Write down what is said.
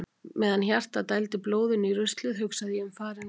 Meðan hjartað dældi blóðinu í ruslið hugsaði ég um farinn veg.